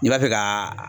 I b'a fɛ ka